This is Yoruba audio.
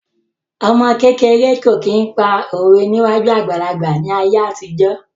Ọmọ kékeré kò kí n pa òwe níwájú àgbàlagbà ní ayé àtijọ́